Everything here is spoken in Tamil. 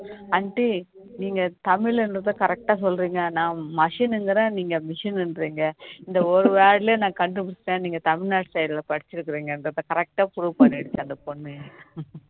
aunty நீங்க தமிழ்ல இருந்தத correct டா சொல்றீங்க நான் மசின் என்கிறேன் நீங்க machine என்றீங்க இந்த ஒரு word லயே நான் கண்டுபிடிச்சிட்டேன் நீங்க தமிழ்நாட்டு site ல படிச்சு இருக்கீங்க எங்கிரத correct ஆ proof பண்ணிடுச்சு அந்த பொண்ணு